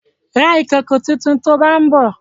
Ra ìkòkò tuntun to bá ń bọ̀!